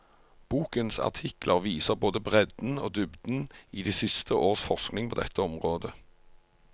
Bokens artikler viser både bredden og dybden i de siste års forskning på dette området.